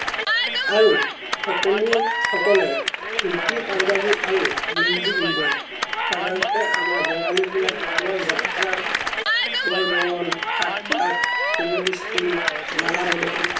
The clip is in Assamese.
আৰু সকলো সকলে ধুতি পুন্জবি আৰু গেন্জি পিন্ধে সাধাৰণতে আমৰ বাংলী বিলাকে বৰ জাত্ৰ, বৰ বৰন, সাত পাক, সুভ ধ্ৰিস্তি, মালা বধন